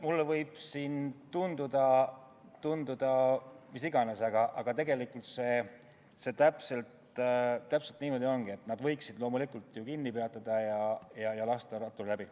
Mulle võib siin tunduda mis iganes, aga tegelikult täpselt niimoodi ongi, et loomulikult võiksid ju autod kinni pidada ja lasta ratturi läbi.